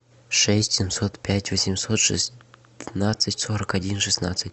шесть семьсот пять восемьсот шестнадцать сорок один шестнадцать